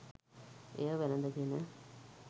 එය වැළඳගෙන